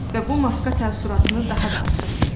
Və bu maska təəssüratını daha da artırırdı.